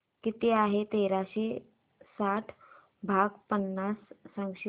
किती आहे तेराशे साठ भाग पन्नास सांगशील